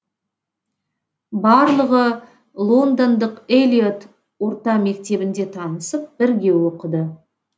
барлығы лондондық эллиот орта мектебінде танысып бірге оқыды